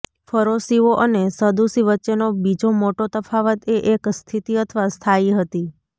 ફરોશીઓ અને સદૂસી વચ્ચેનો બીજો મોટો તફાવત એ એક સ્થિતિ અથવા સ્થાયી હતી